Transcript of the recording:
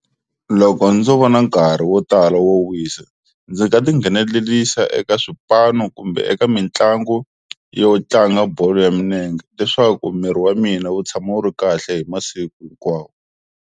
Loko ndzo va na nkarhi wo tala wo wisa ndzi nga ti nghenelelisa eka swipano kumbe eka mitlangu yo tlanga bolo ya milenge leswaku miri wa mina wu tshama wu ri kahle hi masiku hinkwawo.